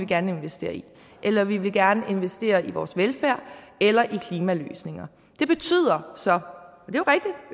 gerne investere i eller vi vil gerne investere i vores velfærd eller i klimaløsninger det betyder så